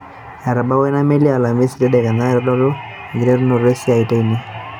Etabawua ina meli alaamisi tadekenya itodolu enkiterunoto esiiai teine.